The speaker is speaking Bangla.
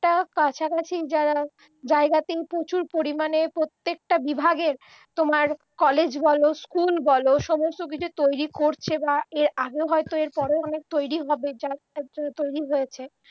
তার কাছাকাছি যারা জায়গাতে প্রচুর পরিমাণে প্রত্যেকটা বিভাগের তোমার কলেজ বল স্কুল বল সমস্ত কিছু তৈরি করছে বা এর আগেও হয়তো এর পরেও অনেক তৈরি হবে যা তৈরি হয়েছে